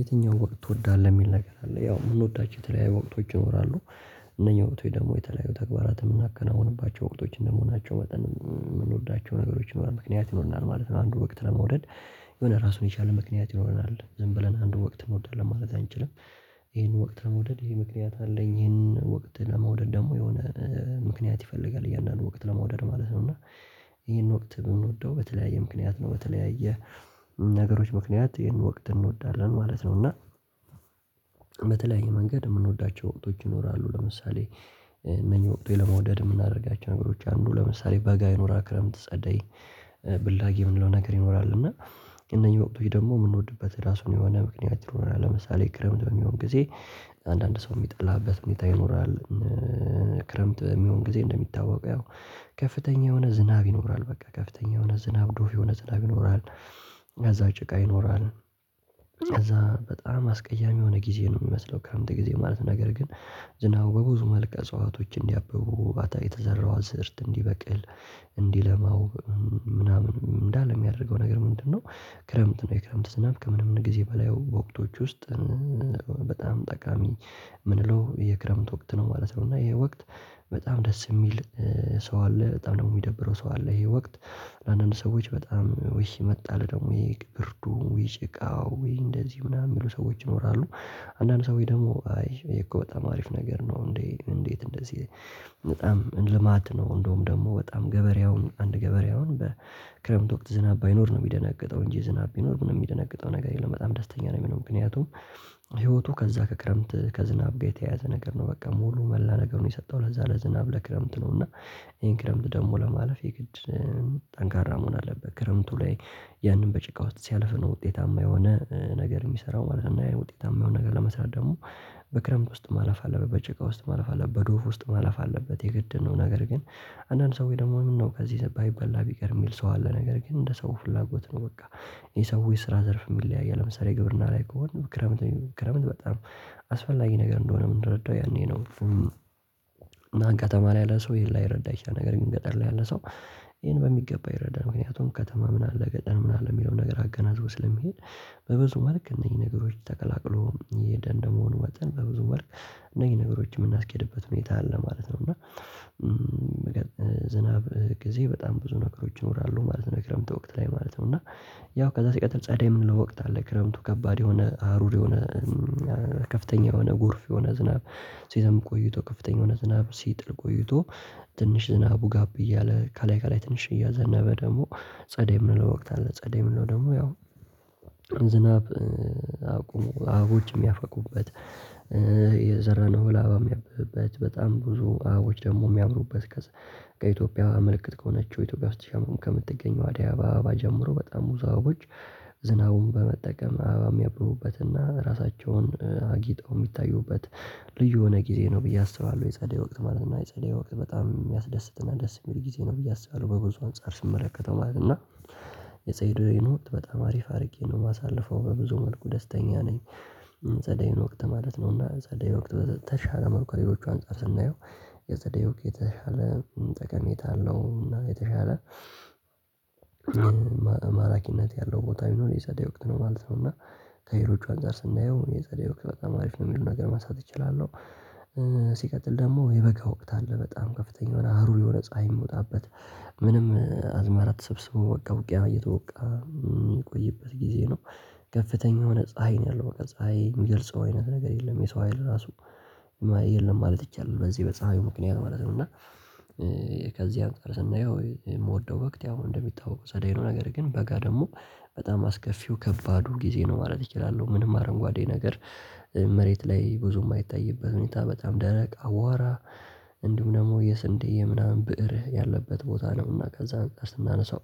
የትኛው ወቅት ትወዳለህ? የሚል ነገር አለ ያው የምንወዳቸው የተለያየ ወቅቶች ይኖራሉ እነኛ ወቅቶች ደግሞ የተለያዩ ተግባራትን የምናከናውንባቸው ወቅቶች እንደመሆናቸው መጠን የምንወዳቸው ነገሮች ይኖራል ምክንያት ይኖርናል ማለት ነው። አንዱ ወቅት ለመውደድ። የሆነ ራሱን የቻለ ምክንያት ይኖርናል ዝም ብለን አንዱ ወቅት እንወዳለን ማለት አንችልም። ይሄን ወቅት ለመውደድ ይሄ ምክንያት አለኝ ይሄን ወቅት ለመውደድ ደግሞ የሆነ ምክንያት ይፈልጋል እያንዳንዱ ወቅት ለመውደድ ማለት ነው። እና። ይሄን ወቅት ምንወደው በተለያየ ምክንያት ነው። በተለያየ ነገሮች ምክንያት ይሄን ወቅት እንወዳለን ማለት ነው እና። በተለያየ መንገድ የምንወዳቸው ወቅቶች ይኖራሉ። ለምሳሌ እነኝህ ወቅቶች ለመውደድ የምናደርጋቸው ነገሮች አንዱ ለምሳሌ በጋ ይኑራል ክረምት ጸደይ ብላጊ የምንለው ነገር ይኖራል። እና እነዚህ ወቅቶች ደግሞ የምንወድበት ራሱን የሆነ ምክንያት ይኖረናል። ለምሳሌ ክረምት በሚሆን ጊዜ አንዳንድ ሰው የሚጠላበት ሁኔታ ይኖራል። ክረምት በሚሆን ጊዜ እንደሚታወቀው ያው ከፍተኛ የሆነ ዝናብ ይኖራል በቃ ከፍተኛ የሆነ ዝናብ ዶፍ የሆነ ዝናብ ይኖራል። ከዛ ጭቃ ይኖራል። ከዛ በጣም አስቀያሚ የሆነ ጊዜ ነው የሚመስለው ክረምት ጊዜ ማለት ነገር ግን። ዝናቡ በብዙ መልክ እጽዋቶች እንዲያብቡ አታ የተዘራው አዘርት እንዲበቅል እንዲለማው ምናምን እንዳለ የሚያደርገው ነገር ምንድነው? ክረምት ነው የክረምት ዝናብ ከምንም ጊዜ በላይ ወቅቶች ውስጥ በጣም ጠቃሚ የምንለው የክረምት ወቅት ነው ማለት ነው። እና ይሄ ወቅት በጣም ደስ የሚል ሰው አለ በጣም ደግሞ የሚደብረው ሰው አለ። ይሄ ወቅት ለአንዳንድ ሰዎች በጣም ውይ መጣልህ ደግሞ ይሄ ብርዱ ይሄ ጭቃው ይሄ እንደዚህ ምናምን የሚሉ ሰዎች ይኖራሉ። አንዳንድ ሰው ደግሞ አይ እኮ በጣም አሪፍ ነገር ነው እንዴ? እንዴት እንደዚህ በጣም ልማት ነው። እንደውም ደግሞ በጣም ገበሬውን አንድ ገበሬውን በክረምት ወቅት ዝናብ ባይኖር ነው የሚደነግጠው እንጂ ዝናብ ቢኖር ምንም የሚደነግጠው ነገር የለም በጣም ደስተኛ ነው የሚሆነው። ምክንያቱም ህይወቱ ከዛ ከክረምት ከዝናብ ጋር የተያያዘ ነገር ነው። በቃ ሙሉ መላ ነገሩን የሰጠው ለዛ ለዝናብ ለክረምት ነው። እና ይሄን ክረምት ደግሞ ለማለፍ የግድ ጠንካራ መሆን አለበት። ክረምቱ ላይ ያንን በጭቃ ውስጥ ሲያልፍ ነው ውጤታማ የሆነ ነገር የሚሰራው ማለት ነው። ውጤታማ የሆነ ነገር ለመስራት ደግሞ በክረምት ውስጥ ማለፍ አለበት በጭቃ ውስጥ ማለፍ አለበት በዶፍ ውስጥ ማለፍ አለበት የግድ ነው። ነገር ግን አንዳንድ ሰው ወይ ደግሞ ምነው ከዚህ ባይበላ ቢቀር የሚል ሰው አለ ነገር ግን እንደ ሰው ፍላጎት ነው በቃ። የሰው የስራ ዘርፍ የሚለያይ ለምሳሌ ግብርና ላይ ከሆነ ክረምት ክረምት በጣም አስፈላጊ ነገር እንደሆነ የምንረዳው ያኔ ነው። አሁን ከተማ ላይ ያለ ሰው ይሄን ላይረዳ ይችላል። ነገር ግን ገጠር ላይ ያለ ሰው ይሄን በሚገባ ይረዳል። ምክንያቱም ከተማ ምን አለ ገጠር ምን አለ የሚለውን ነገር አገናዝቶ ስለሚሄድ። በብዙ መልክ እነዚህ ነገሮች ተቀላቅሎ እየሄደ እንደመሆኑ መጠን በብዙ መልክ እነኝህ ነገሮች የምናስኬድበት ሁኔታ አለ ማለት ነው። እና ዝናብ ጊዜ በጣም ብዙ ነገሮች ይኖራሉ ማለት ነው። ክረምቱ ወቅት ላይ ማለት ነው እና ያው ከዛ ሲቀጥል ጸደይ ምንለው ወቅት አለ። ክረምቱ ከባድ የሆነ አሩር የሆነ ከፍተኛ የሆነ ጎርፍ የሆነ ዝናብ። ሲዘንብ ቆይቶ ከፍተኛ የሆነ ዝናብ ሲጥል ቆይቶ ትንሽ ዝናቡ ጋብ እያለ ከላይ ከላይ ትንሽ እያዘነበ ደግሞ ጸዴይ ምንለው ወቅት አለ። ጸዴይ ምንለው ደግሞ ያው ዝናብ አቁሙ አበቦች የሚያፈኩበት። የዘረነው እህል አበባ የምያብብበት በጣም ብዙ አበቦች ደግሞ የሚያምሩበት። ከኢትዮጵያ ምልክት ከሆነችው ኢትዮጵያ ውስጥ ብቻ ከምትገኘው አዳይ አበባ ጀምሮ በጣም አበቦች ዝናቡን በመጠቀም አበባ የሚያብቡበትና ራሳቸውን አጊጠው የሚታዩበት ልዩ የሆነ ጊዜ ነው ብዬ አስባለሁ። የጸደይ ወቅት ማለት ነው የጸደይ ወቅት በጣም የሚያስደስትና ደስ የሚል ጊዜ ነው ብዬ አስባለሁ። በብዙ አንፃር ስመለከተው ማለት ነው። እና የፀይይን ወቅት በጣም አሪፍ አድርጌ ነው የማሳልፈው በብዙ መልኩ ደስተኛ ነኝ። የጸዳይን ወቅት ማለት ነውና ጸደይ ወቅት በተሻለ መልኩ ከሌሎቹ አንፃር ስናየው የፀደይ ወቅት የተሻለ ጠቀሜታ አለው። እና የተሻለ ማራኪነት ያለው ቦታ ብኖር የፀደይ ወቅት ነው ማለት ነው። እና ከሌሎቹ አንፃር ስናየው የፀደይ ወቅት በጣም አሪፍ ነው የሚል ነገር መንሳት እችላለሁ። ሲቀጥል ደግሞ የበጋ ወቅት አለ በጣም ከፍተኛ የሆነ ሀሩር የሆነ ፀሀይ የምወጣበት ምንም አዝማራ ተሰብስቦ በቃ ውቅያ እየተወቃ የሚቆይበት ጊዜ ነው። ከፍተኛ የሆነ ፀሀይ ነው ያለው በቃ ፀሀይ የሚገልጸው አይነት ነገር የለም። የሰው ሀይል ራሱ የለም ማለት ይቻላል። በዚህ በፀሐዩ ምክንያት ማለት ነው። እና ከዚህ አንፃር ስናየው የምወደው ወቅት ያው እንደሚታወቀው ጸደይ ነው። ነገር ግን በጋ ደግሞ በጣም አስከፊው ከባዱ ጊዜ ነው ማለት እችላለሁ። ምንም አረንጓዴ ነገር መሬት ላይ ብዙ የማይታይበት ሁኔታ በጣም ደረቅ አዋራ። እንዲሁም ደግሞ የስንዴ ምናምን ብእር ያለበት ቦታ ነው። እና ከዛ አንፃር ስናነሳው